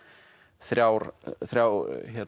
þrjá þrjá